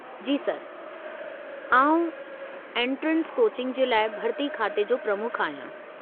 जी sir, आउं entrance coaching जे लाइ भर्ती खाते जो प्रमुख आहियां।